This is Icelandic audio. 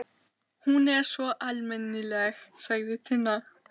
Hún er svo almennileg, sagði Tinna.